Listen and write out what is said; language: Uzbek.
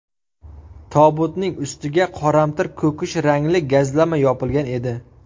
Tobutning ustiga qoramtir ko‘kish rangli gazlama yopilgan edi.